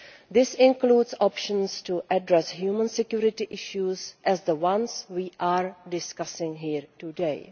This includes options to address human security issues as the ones we are discussing here today.